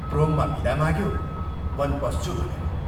प्रोममा विदा माग्यो, वन पस्छु भनेर।